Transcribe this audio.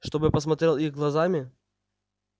чтобы посмотрел их глазами